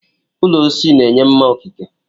Ụlọ osisi na-enye mma okike.